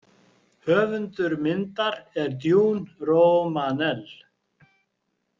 Höfundur myndar er Duane Romanell.